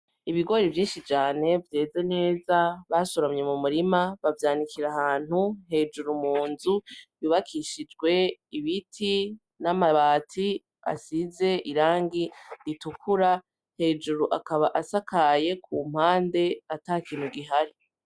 Ibigori vyinshi cane vyeza neza basoromye mu murima bavyanikira ahantu hejuru mu nzu yubakishijwe ibiti n'amabati asize irangi ritukura hejuru akaba asakaye ku mpande ata kintu gihari.